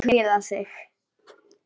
Hann stofnar okkur í hættu.